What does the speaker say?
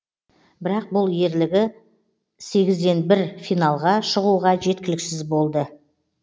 бірақ бұл ерлігі сегізден бір финалға шығуға жеткіліксіз болды